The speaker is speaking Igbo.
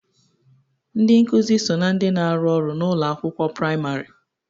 Ndị nkuzi so na ndị na-arụ ọrụ n'ụlọ akwụkwọ praịmarị.